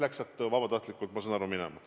Ta läks sealt minema vabatahtlikult, ma saan nii aru.